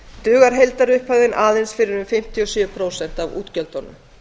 dugar heildarupphæðin aðeins fyrir um fimmtíu og sjö prósent af útgjöldunum